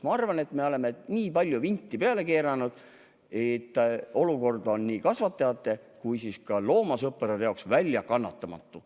Ma arvan, et me oleme nii palju vinti peale keeranud, et olukord on nii kasvatajate kui ka loomasõprade jaoks väljakannatamatu.